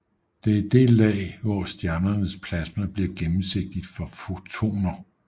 Det er det lag hvor stjernens plasma bliver gennemsigtigt for fotoner